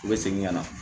U bɛ segin ka na